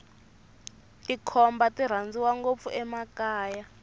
tikhomba ti rhandziwa ngopfu emakaya